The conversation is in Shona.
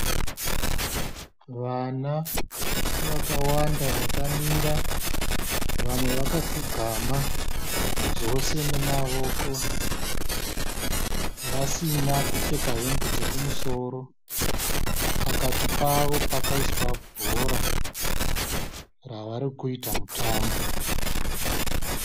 Vana vakawanda akamira, vamwe vakapfugama zvose nemawoko, vasina kupheka hembe dzekumusoro. Pakati pavo pakaiswa bhora ravarikuita mutambo.